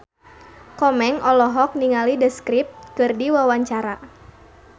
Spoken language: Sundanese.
Komeng olohok ningali The Script keur diwawancara